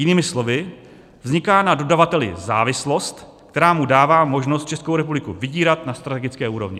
Jinými slovy, vzniká na dodavateli závislost, která mu dává možnost Českou republiku vydírat na strategické úrovni.